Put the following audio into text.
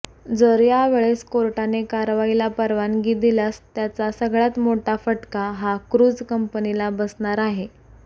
जर यावेळेस कोर्टाने कारवाईला परवानगी दिल्यास त्याचा सगळ्यात मोठा फटका हा क्रूझ कंपनीला बसणार आहे